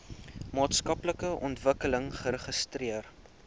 maatskaplike ontwikkeling registreer